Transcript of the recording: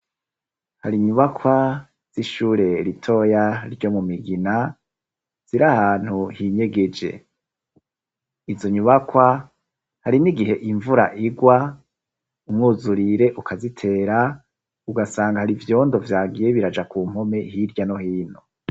Hari nyubakwa zishure ritoya ryo mu migina ziri ahantu hinyegeje izo nyubakwa hari n' igihe imvura igwa umwuzurire ukazitera ugasanga hari ivyondo vyagiye biraja ku mpome hirya no hino.